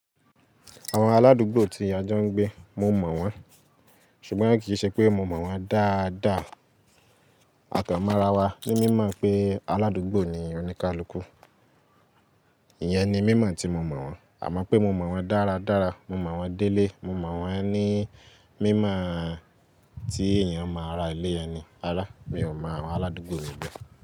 Àwọn aládùúgbò tí á jọ́ ńgbé, mo mọ̀ wọ́n, ṣùgbọ́n kì í ṣe pé mo mọ̀ wọ́n dáadáa. À kán mọ̀ra wa ni mímọ̀ pé aládùúgbò ni oníkálukú. Iyẹn ni mí mọ̀ tí mo mọ̀ wọ́n. Àmọ́ pé mo mọ̀ wọ́n dáradára, mo mọ̀ wọ́n délé, mo mọ̀ wọ́n ni mí mọ̀ tí èèyàn máa ra ilé ẹni. Rárá, mi ò mọ àwọn aládùúgbò mi be.